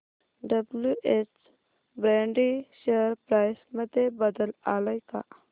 WH Brady share price मध्ये बदल आलाय का